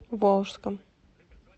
волжском